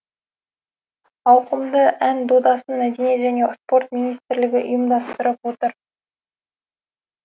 ауқымды ән додасын мәдениет және спорт министрлігі ұйымдастырып отыр